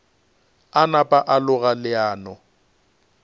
a napa a loga leano